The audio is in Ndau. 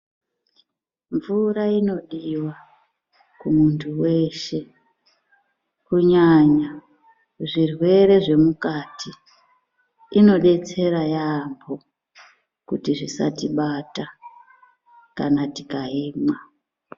Mvura inodiwa kumuntu weshe ,kunyanya zvirwere zvemukati, inodetsera yaampho kuti zvisatibata, kana tikaimwa.